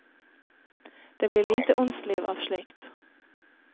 Det blir lite åndsliv av slikt.